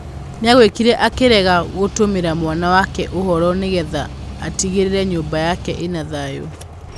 Nĩaigwikire akĩrega gũtũmĩra mwana wake ũhoro nĩgetha atigĩrĩre nyũmba yake ĩna thayũ.